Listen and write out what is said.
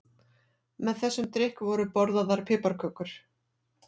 Með þessum drykk voru borðaðar piparkökur.